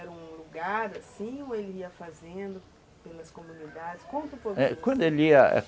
Era um lugar assim ou ele ia fazendo pelas comunidades? Conta